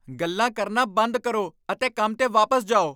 ਗੱਲਾਂ ਕਰਨਾ ਬੰਦ ਕਰੋ ਅਤੇ ਕੰਮ 'ਤੇ ਵਾਪਸ ਜਾਓ!